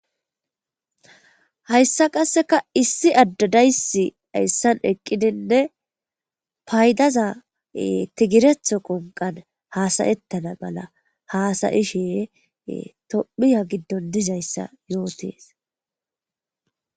Hayisa qaseka issi ade de'es hayisan eqidinee payidaza tegirethoko hasaetana mala hasa'ishe baya gidon dizaysa yotes